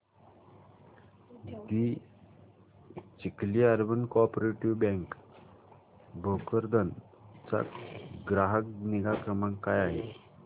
दि Chikhli urban co operative bank Bhokardan चा ग्राहक निगा क्रमांक काय आहे